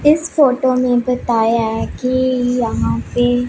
इस फोटो में बताया है कि यहां पे--